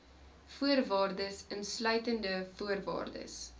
voorwaardes insluitende voorwaardes